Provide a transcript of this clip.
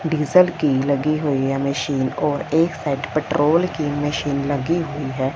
Diesel की लगी हुई है मशीन और एक साइड पेट्रोल की मशीन लगी हुई है।